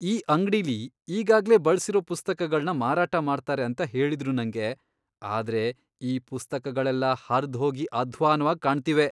ಈ ಅಂಗ್ಡಿಲಿ ಈಗಾಗ್ಲೇ ಬಳ್ಸಿರೋ ಪುಸ್ತಕಗಳ್ನ ಮಾರಾಟ ಮಾಡ್ತಾರೆ ಅಂತ ಹೇಳಿದ್ರು ನಂಗೆ, ಆದ್ರೆ ಈ ಪುಸ್ತಕಗಳೆಲ್ಲ ಹರ್ದ್ಹೋಗಿ ಅಧ್ವಾನ್ವಾಗ್ ಕಾಣ್ತಿವೆ.